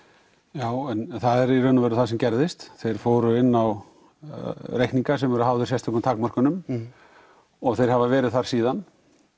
já en það er í raun og veru það sem gerðist þeir fóru inn á reikninga sem voru háðir sérstökum takmörkunum og þeir hafa verið þar síðan